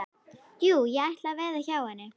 Jú, ég ætla að veða hjá henni.